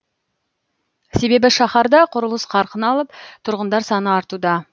себебі шаһарда құрылыс қарқын алып тұрғындар саны артуда